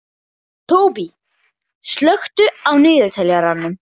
Tóbý, slökktu á niðurteljaranum.